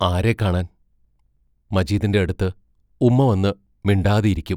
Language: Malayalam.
ആരെ കാണാൻ മജീദിന്റെ അടുത്ത് ഉമ്മ വന്ന് മിണ്ടാതെ ഇരിക്കും.